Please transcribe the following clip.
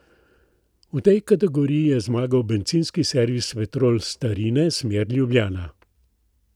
V tej kategoriji je zmagal bencinski servis Petrol Starine, smer Ljubljana.